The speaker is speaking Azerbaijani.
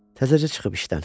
Təzəcə çıxıb işdən.